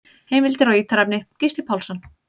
Heimildir og ítarefni: Gísli Pálsson.